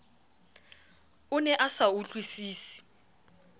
o ne a sa utlwisise